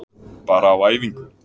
Bara á æfingu.